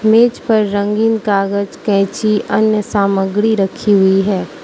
मेज पर रंगीन कागज कैंची अन्य सामग्री रखी हुई है।